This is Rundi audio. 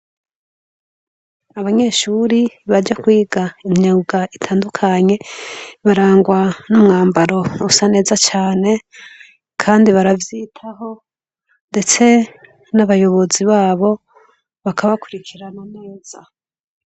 Abanyeshuri baje kwiga imyuga itandukanye barangwa n' umwambaro usa neza cane kandi baravyitaho ndetse n' abayobozi babo bakabakurikirana.